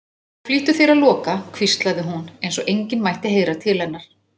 Og flýttu þér að loka, hvíslaði hún, eins og enginn mætti heyra til hennar.